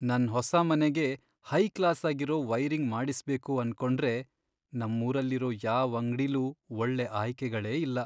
ನನ್ ಹೊಸ ಮನೆಗೆ ಹೈ ಕ್ಲಾಸಾಗಿರೋ ವೈರಿಂಗ್ ಮಾಡಿಸ್ಬೇಕು ಅನ್ಕೊಂಡ್ರೆ ನಮ್ಮೂರಲ್ಲಿರೋ ಯಾವ್ ಅಂಗ್ಡಿಲೂ ಒಳ್ಳೆ ಆಯ್ಕೆಗಳೇ ಇಲ್ಲ.